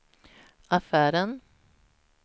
affären